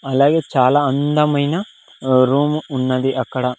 అలాగే చాలా అందమైన రూమ్ ఉన్నది అక్కడ.